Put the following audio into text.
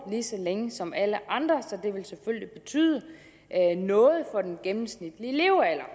lige så længe som alle andre så det vil selvfølgelig betyde noget for den gennemsnitlige levealder